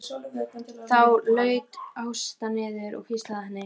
Þá laut Ásta niður og hvíslaði að henni.